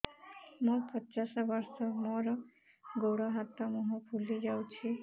ମୁ ପଚାଶ ବର୍ଷ ମୋର ଗୋଡ ହାତ ମୁହଁ ଫୁଲି ଯାଉଛି